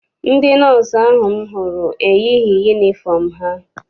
Ndị nọọsụ ahụ m hụrụ eyighị yunifọm ha.